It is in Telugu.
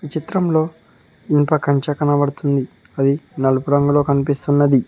ఈ చిత్రంలో ఇనుప కంచ కనపడుతుంది అది నలుపు రంగులో కనిపిస్తున్నది.